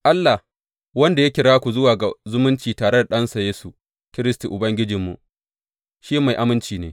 Allah, wanda ya kira ku zuwa ga zumunci tare da Ɗansa Yesu Kiristi Ubangijinmu, shi mai aminci ne.